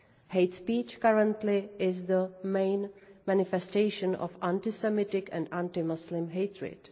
Hate speech currently is the main manifestation of anti Semitic and anti Muslim hatred.